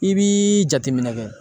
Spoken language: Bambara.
I b'i jateminɛ kɛ.